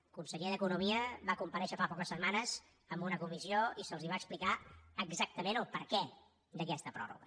el conseller d’economia va comparèixer fa poques setmanes en una comissió i se’ls va explicar exactament el perquè d’aquesta pròrroga